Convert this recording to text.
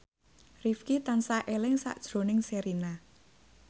Rifqi tansah eling sakjroning Sherina